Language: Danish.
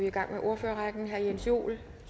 i gang med ordførerrækken herre jens joel